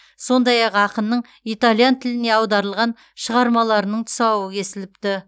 сондай ақ ақынның итальян тіліне аударылған шығармаларының тұсауы кесіліпті